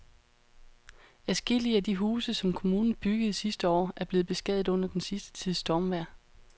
Adskillige af de huse, som kommunen byggede sidste år, er blevet beskadiget under den sidste tids stormvejr.